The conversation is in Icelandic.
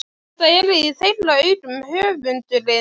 Þetta er í þeirra augum höfundurinn